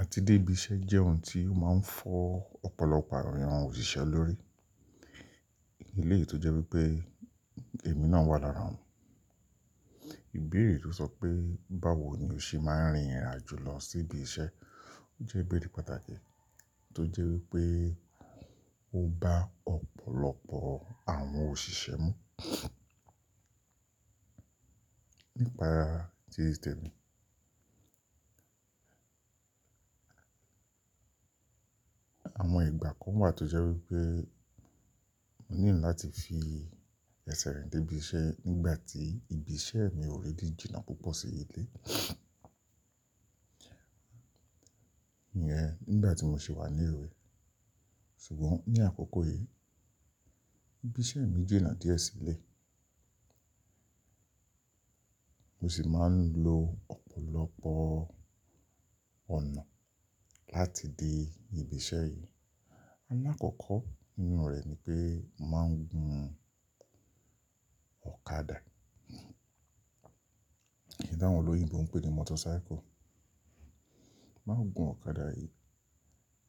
Àti débí iṣẹ́ jẹ́ ohun tí ó máa ń fọ́ ọ̀pọ̀lọpọ̀ àwọn èèyàn òṣìṣẹ́ lórí. Ilé ìtọ́jú pé èmi náà wà lára wọn. Ìbéèrè tó sọ pé báwo ni o ṣe máa ń rìnrìn àjò lọ sí ibi iṣẹ́, ó jẹ́ ìbéèrè pàtàkì tó jẹ́ wípé ó bá ọ̀pọ̀lọpọ̀ àwọn òṣìṣẹ́ mú. Nípa tí temi. Àwọn ìgbà kan wà tó jẹ́ wípé mo need láti fi ẹsẹ̀ rìn débí iṣẹ́ nígbà tí ibi iṣẹ́ mi ò really jìnà púpọ̀ sí ilé. Iyen nígbà tí mo sì wà ní ewé. Ṣùgbọ́n ní àkókò yìí, ibi iṣẹ́ mi jìnà díẹ̀ sí ilé. Mo sì máa ń lo ọ̀pọ̀lọpọ̀ ọ̀nà láti dé ibi iṣẹ́ yìí. Alákọ̀ọ́kọ́ nínú oro ẹ̀ ni pé mo máa ń gun ọ̀kadà. Nti àwọn olóyìnbo ń pè ní motorcycle. Máa ń gun ọ̀kadà yìí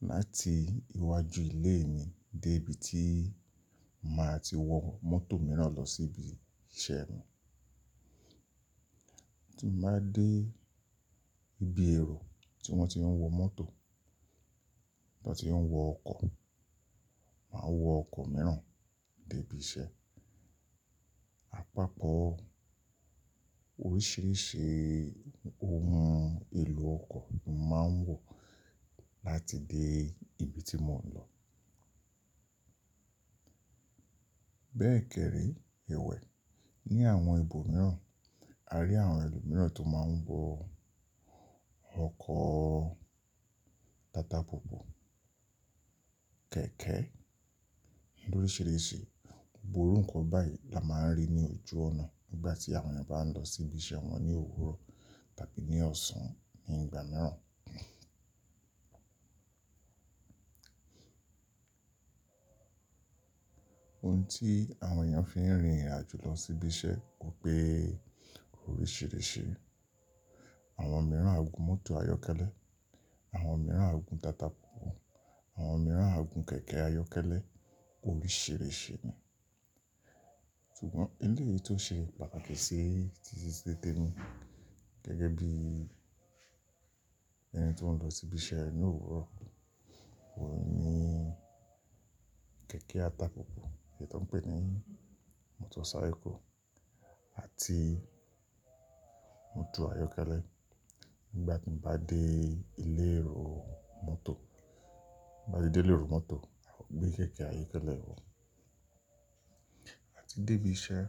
láti iwájú ilé mi dé ibi tí màá ti wọ mọ́tò mìíràn lọ sí ibi iṣẹ́ mi. Tí n bá dé ibi èrò tí wọ́n ti ń wọ mọ́tò, tí wọ́n ti ń wọ ọkọ̀, màá wọ ọkọ̀ mìíràn dé ibi iṣẹ́. Àpapọ̀ oríṣiríṣi ohun èlò ọkọ̀ ni màá ń wọ̀ láti dé ibi tí mò ń lọ. Bẹ́ẹ̀ kẹ́rẹ́, ewẹ̀ ní àwọn ibo mìíràn, a rí àwọn ẹlòmíràn tó máa ń wọ ọkọ̀ tata púpù, kẹ̀kẹ́, lórisírísí. Gboru ǹkan báyìí la máa ń rí ní ojú ọ̀nà nígbà tí àwọn èèyàn bá ń lọ sí ibi iṣẹ́ wọn ní òwúrọ̀ tàbí ní ọ̀sán ní ìgbà mìíràn. Ohun tí àwọn èèyàn fi ń rìnrìn àjò lọ sí ibi iṣẹ́ ó pé oríṣiríṣi. Àwọn mìíràn á gun mọ́tò ayọ́kẹ́lẹ́, àwọn mìíràn á gun tata púpù, àwọn mìíràn á gun kẹ̀kẹ́ ayọ́kẹ́lẹ́, oríṣiríṣi ni. Ṣùgbọ́n ilé yìí tó ṣe pàtàkì sí títí sí te mi gẹ́gẹ́ bí ẹni tó ń lọ sí ibi iṣẹ́ ní òwúrọ̀, òun ni kẹ̀kẹ́ ata púpù èyí tó ń pè ní motorcycle àti mọ́tò ayọ́kẹ́lẹ́. Nígbà tí mo bá dé ilé èrò mọ́tò, bá ti dé ilé èrò mọ́tò, àwọn gbé kẹ̀kẹ́ ayọ́kẹ́lẹ́ wọ́n. Àti débí iṣẹ́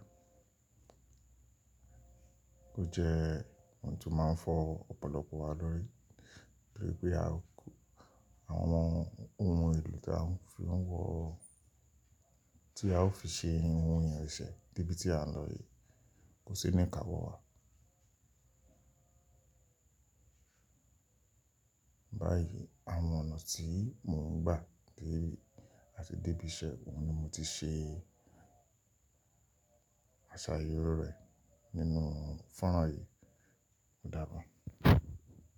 ó jẹ́ ohun tó máa ń fọ́ ọ̀pọ̀lọpọ̀ wa lórí. Torí pé àwọn ohun èlò tí a ń fi wọ, tí a ó fi ṣe ohun ìrìn iṣẹ́ dé ibi tí à ń lọ yìí kò sí ní káwọ̀ wá. Báyìí àwọn ọ̀nà tí mò ń gbà kí a ti débí iṣẹ́, òun ni mo ti ṣe aṣàyẹ̀wò rẹ̀ nínú fọ́nrán yìí. Ó dàbọ̀.